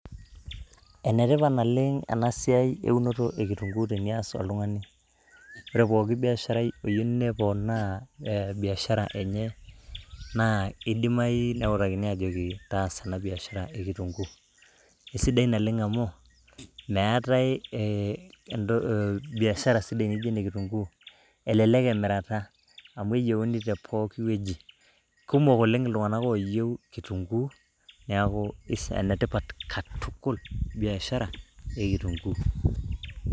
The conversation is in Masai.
Ene tipat naleng ena siai eunoto e kitunguu tenias oltungani. ore pooki biasharai oyieu neponaa biashara enye naa idimayu neutakini ajoki taasa ena biashara e kitunguu . Isidai amu meetae biashara sidai naijo ena e kitunguu .Elelek emirata amu keyieuni te pooki wueji. Kumok oleng iltunganak oyieu kitunguu niaku ene tipat katukul biashara e kitunguu .